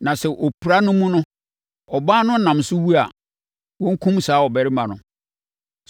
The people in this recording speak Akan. Na sɛ opira no mu no, ɔbaa no nam so wu a, wɔnkum saa ɔbarima no.